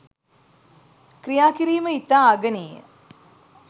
ක්‍රියා කිරීම ඉතා අගනේය.